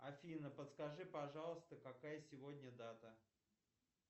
афина подскажи пожалуйста какая сегодня дата